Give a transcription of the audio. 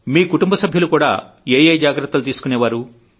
మీ కుటుంబ సభ్యులు ఏ ఏ జాగ్రత్తలు తీసుకునేవారు